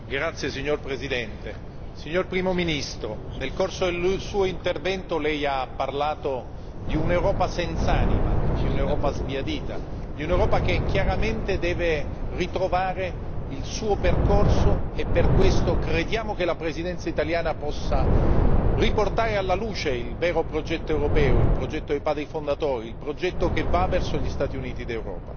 Signor Presidente, onorevoli colleghi, signor Primo ministro, nel corso del suo intervento lei ha parlato di un'Europa senz'anima, di un'Europa sbiadita, di un'Europa che chiaramente deve ritrovare il suo percorso e per questo crediamo che la Presidenza italiana possa riportare alla luce il vero progetto europeo, il progetto dei padri fondatori, il progetto che va verso gli Stati Uniti d'Europa.